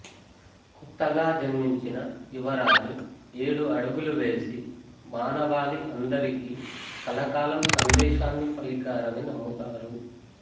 కొత్తగా జన్మించిన యువరాజు ఏడు అడుగులు వేసి మానవాళి అందరికీ కలకాలం సందేశాన్ని పలికారని నమ్ముతారు